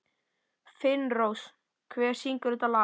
Finnrós, hver syngur þetta lag?